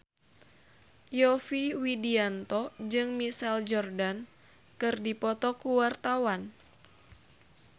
Yovie Widianto jeung Michael Jordan keur dipoto ku wartawan